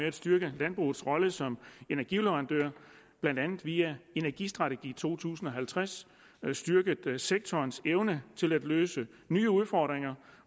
at styrke landbrugets rolle som energileverandør blandt andet via energistrategi to tusind og halvtreds styrket sektorens evne til at løse nye udfordringer